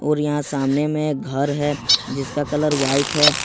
और यहां सामने में घर है जिसका कलर व्हाइट है।